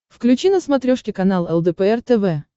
включи на смотрешке канал лдпр тв